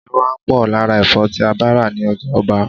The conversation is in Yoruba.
Iyẹpẹ máa ń pò lára Ẹ̀fọ́ tí a bá ra ní ọjà-ọba.